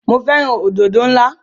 Mo fẹ́ràn òdòdó náà.